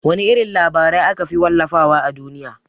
Wana irin labarai akafi wallafa wa a duniya?